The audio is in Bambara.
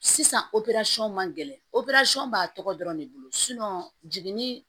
Sisan man gɛlɛn b'a tɔgɔ dɔrɔn de bolo jiginni